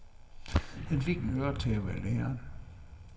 Han fik en øretæve af læreren.